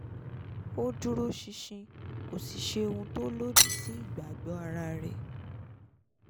ó dúróṣinṣin kò sì ṣe ohun tó lòdì sí ìgbàgbọ́ ara rẹ̀